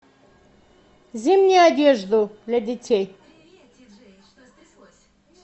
зимнюю одежду для детей